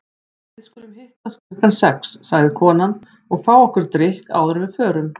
Við skulum hittast klukkan sex, sagði konan, og fá okkur drykk áður en við förum.